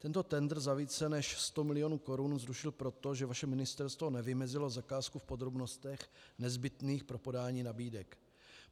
Tento tendr za více než 100 milionů korun zrušil proto, že vaše ministerstvo nevymezilo zakázku v podrobnostech nezbytných pro podání nabídek.